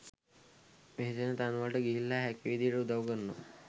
වෙසෙන තැන්වලට ගිහිල්ලා හැකි විදියට උදව් කරනවා.